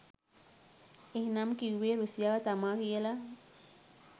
එහෙනම් කිව්වෙ රුසියාව තමා කියලා?